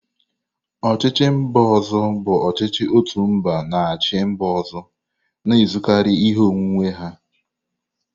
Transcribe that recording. Ochichi mba ozo bụ ọchịchị otu mba na-achị mba ọzọ, na-ezukarị ihe onwunwe ha.